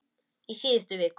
Í síðustu viku.